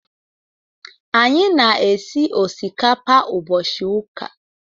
Anyị na-esi osikapa ụbọchị ụka.